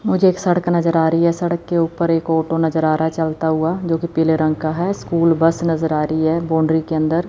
मुझे एक सड़क नज़र आ रही है सड़क के ऊपर एक ऑटो नज़र आ रहा है चलता हुआ जो कि पीले रंग का है स्कूल बस नज़र आ रही है। बॉउंड्री के अंदर --